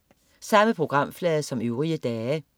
Samme programflade som øvrige dage